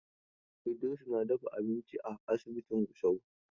Idiris na dafa abinci a asibitin Gusau.